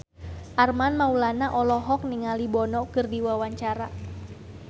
Armand Maulana olohok ningali Bono keur diwawancara